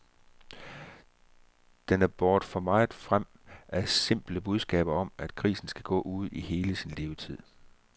Den er båret for meget frem af simple budskaber om, at grisen skal gå ude i hele sin levetid.